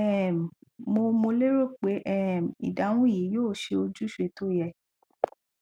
um mo mo lérò pé um ìdáhùn yìí yóò ṣe ojúṣe tó yẹ